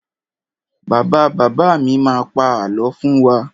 Bàbá bàbá mi má pa àlọ́ fún wa.